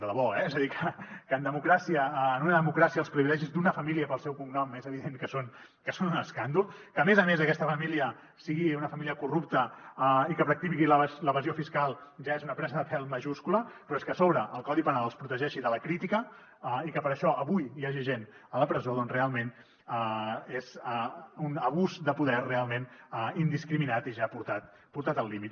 de debò eh és a dir que en democràcia en una democràcia els privilegis d’una família pel seu cognom és evident que són un escàndol que a més a més aquesta família sigui una família corrupta i que practiqui l’evasió fiscal ja és una presa de pèl majúscula però és que a sobre el codi penal els protegeixi de la crítica i que per això avui hi hagi gent a la presó doncs realment és un abús de poder realment indiscriminat i ja portat al límit